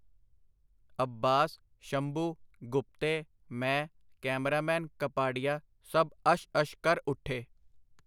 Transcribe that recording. ਅੱਬਾਸ, ਸ਼ੰਭੂ, ਗੁਪਤੇ, ਮੈਂ, ਕੈਮਰਾਮੈਨ ਕਪਾਡੀਆ ਸਭ ਅਸ਼-ਅਸ਼ ਕਰ ਉੱਠੇ.